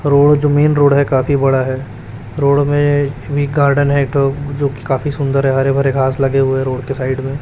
Road जो main road है काफी बड़ा है रोड में गार्डन है जोकि काफी सुंदर है हरे -भरे घास लगे हुए है रोड के साइड में।